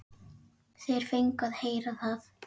Þeir fengu að heyra það.